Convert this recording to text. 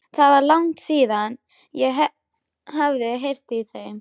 Það var langt síðan ég hafði heyrt í þeim.